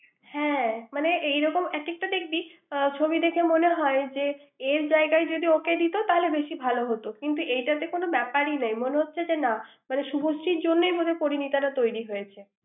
হ্যাঁ মানে এইরকম এক একটাতেই দেখবি মনে হয় যে এর জায়গায় যদি ওকে দিতো যদি ভাল হত কিন্তু এইটাতেই কোন ব্যাপারই নাই মনে হচ্ছে না শুভশ্রীর জন্যই পরিণীতা তৈরি হয়েছে ৷